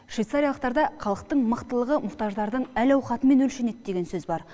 швейцариялықтарда халықтың мықтылығы мұқтаждардың әл ауқатымен өлшенеді деген сөз бар